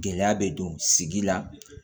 Gɛlɛya bɛ don sigi la